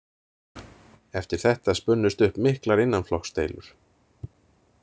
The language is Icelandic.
Eftir þetta spunnust upp miklar innanflokksdeilur.